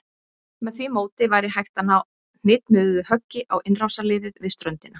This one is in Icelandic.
Með því móti væri hægt að ná hnitmiðuðu höggi á innrásarliðið við ströndina.